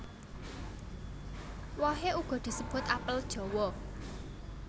Wohe uga disebut apel jawa